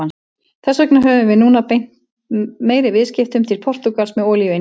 Þess vegna höfum við núna beint meiri viðskiptum til Portúgals með olíuinnkaup.